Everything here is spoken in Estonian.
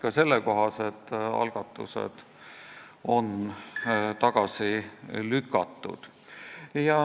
Ka sellekohased algatused on tagasi lükatud.